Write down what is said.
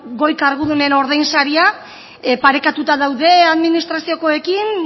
goi kargudunen ordain saria parekatuta daude administraziokoekin